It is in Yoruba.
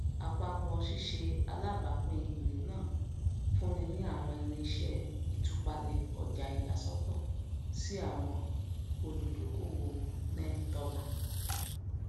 àpapọ ṣíṣe alábàápín ere náà fúnni ní àwọn irinṣẹ ìtúpalẹ ọjà iyàsọtọ sí àwọn olùdókòwònẹttọlà